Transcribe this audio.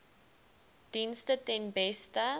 dienste ten beste